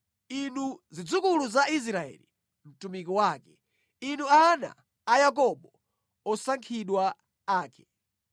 inu zidzukulu za Israeli mtumiki wake, inu ana a Yakobo, osankhidwa ake.